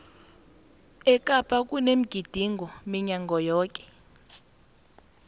ekapa kunomgidingo minyaka yoke